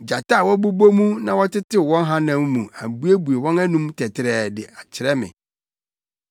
Gyata a wɔbobɔ mu na wɔtetew wɔn hanam mu abuebue wɔn anom tɛtrɛɛ de kyerɛ me.